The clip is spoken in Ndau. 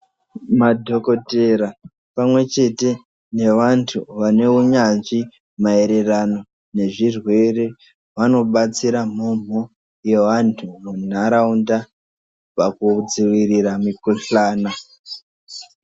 Madhokodhera pamwechete nevantu vane unyanzvi maererano nezvirwere vanobatsira mhomho yevantu munharaunda pakudzivirira mikohlana.